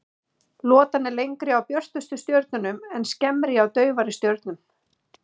Lotan er lengri hjá björtustu stjörnunum en skemmri hjá daufari stjörnum.